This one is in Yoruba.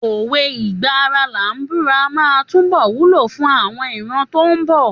Òwe ìgbà ara làá búra máa túbọ̀ wúlò fún àwọn ìran tó ń bọ̀.